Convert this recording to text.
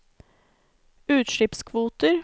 utslippskvoter